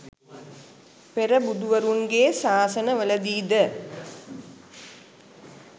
පෙර බුදුවරුන්ගේ ශාසනවලදී ද